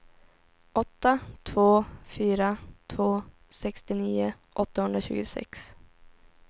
åtta två fyra två sextionio åttahundratjugosex